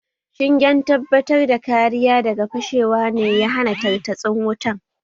Shingen tabatar da kariya daga fashewa ne ya hana tartatsin wutan